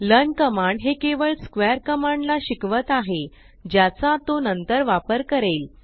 learn command हे केवळ square command ला शिकवत आहे ज्याचा तो नंतर वापर करेल